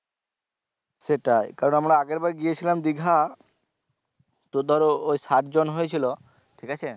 সেটাই কারণ আমরা আগেরবার গিয়েছিলাম দিঘা তো ধরো ওই সাত জন হয়েছিলো ঠিক আছে